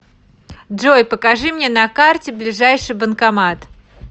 джой покажи мне на карте ближайший банкомат